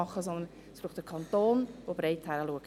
Es braucht vielmehr den Kanton, der hinschaut.